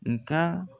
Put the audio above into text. Nga